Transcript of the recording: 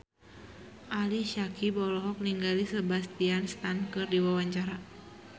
Ali Syakieb olohok ningali Sebastian Stan keur diwawancara